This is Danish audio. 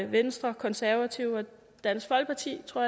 venstre konservative og dansk folkeparti tror